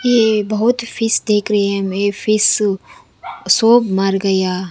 ये बहुत फिश देख रहे हैं ये फिश सोब मर गया।